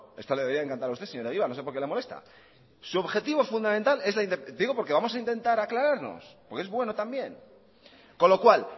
esto le debería de encantar a usted señor egibar no sé por qué le molesta su objetivo fundamental es la independencia digo porque vamos a intentar aclararnos por que es bueno también con lo cual